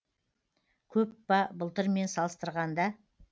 көп па былтырмен салыстырғанда